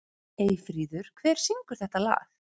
Eyfríður, hver syngur þetta lag?